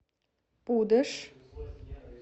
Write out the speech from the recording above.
пудож